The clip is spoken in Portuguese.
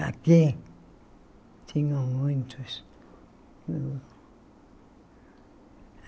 Aqui tinham muitos.